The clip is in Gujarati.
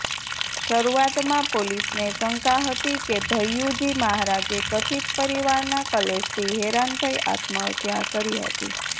શરૂઆતમાં પોલીસને શંકા હતી કે ભૈયુજી મહારાજે કથિત પરિવારના કલેશથી હેરાન થઇ આત્મહત્યા કરી હતી